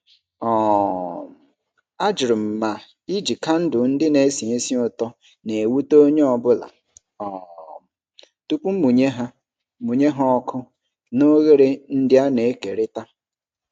um Ajụrụ m ma iji kandụl ndị na-esi ísì ụtọ na-ewute onye ọ bụla um tupu mụnye ha mụnye ha ọkụ na oghere ndị a na-ekerịta.